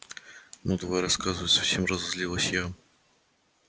ну давай рассказывай совсем разозлилась я